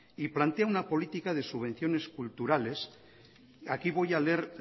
y plantea una política de subvenciones culturales aquí voy a leer